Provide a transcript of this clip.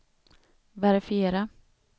verifiera